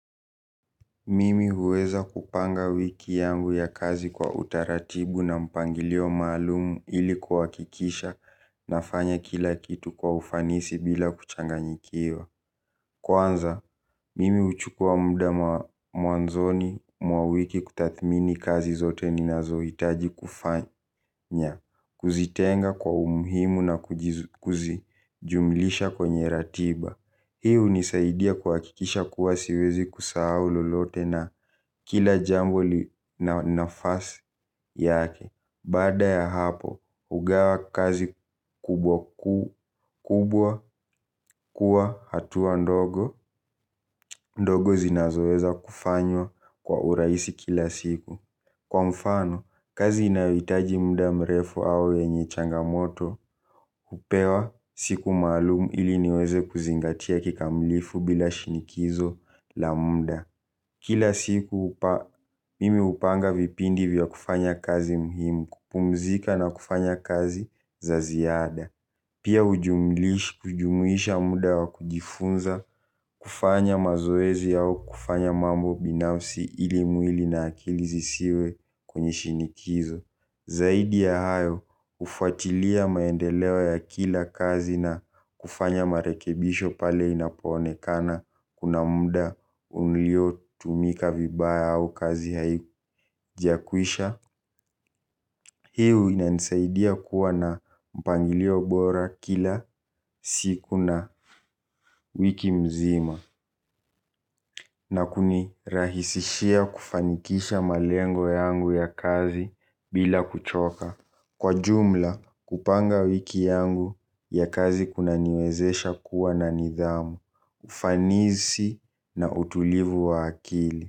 Mimi huweza kupanga wiki yangu ya kazi kwa utaratibu na mpangilio maalumu ili kuhakikisha nafanya kila kitu kwa ufanisi bila kuchanganyikiwa. Kwanza, mimi huchukua muda mwanzoni mwa wiki kutathmini kazi zote ninazohitaji kufanya, kuzitenga kwa umuhimu na kuzijumlisha kwenye ratiba. Hii hunisaidia kuhakikisha kuwa siwezi kusahau lolote na kila jambo na nafasi yake. Baada ya hapo, hugawa kazi kubwa kuwa hatua ndogo, ndogo zinazoweza kufanywa kwa urahisi kila siku. Kwa mfano, kazi inayohitaji muda mrefu au yenye changamoto, hupewa siku maalum ili niweze kuzingatia kikamilifu bila shinikizo la muda. Kila siku mimi hupanga vipindi vya kufanya kazi muhimu, kupumzika na kufanya kazi za ziada. Pia hujumuisha muda wa kujifunza kufanya mazoezi au kufanya mambo binafsi ili na akili zisiwe kwenye shinikizo. Zaidi ya hayo hufuatilia maendeleo ya kila kazi na kufanya marekebisho pale inapoonekana kuna muda ulio tumika vibaya au kazi haijakwisha. Hii huwa inanisaidia kuwa na mpangilio bora kila siku na wiki mzima na kunirahisishia kufanikisha malengo yangu ya kazi bila kuchoka. Kwa jumla kupanga wiki yangu ya kazi kunaniwezesha kuwa na nidhamu, ufanisi na utulivu wa akili.